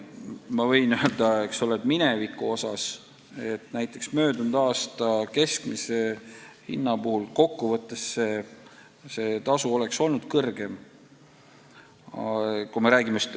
Ma võin öelda, et näiteks möödunud aasta keskmise hinna korral oleks see tasu kokkuvõttes olnud suurem.